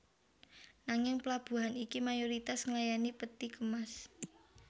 Nanging plabuhan iki mayoritas nglayani peti kemas